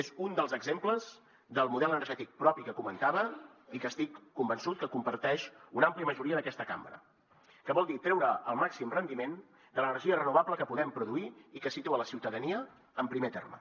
és un dels exemples del model energètic propi que comentava i que estic convençut que comparteix una àmplia majoria d’aquesta cambra que vol dir treure el màxim rendiment de l’energia renovable que podem produir i que situa la ciutadania en primer terme